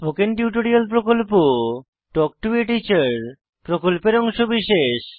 spoken tutorial talk to a teacher প্রকল্পের অংশবিশেষ